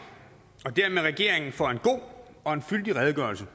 og dermed regeringen for en god og fyldig redegørelse